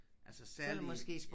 Altså særlige